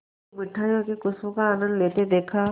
की मिठाइयों की खूशबू का आनंद लेते देखा